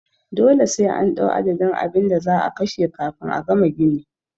Dole sai an ɗau adadin abinda za'a kashe kafin a gama gini